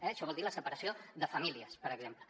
això vol dir la separació de famílies per exemple